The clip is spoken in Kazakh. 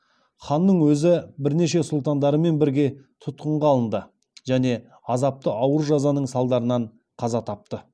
ханның өзі бірнеше сұлтандарымен бірге тұтқынға алынды және азапты ауыр жазаның салдарынан қаза тапты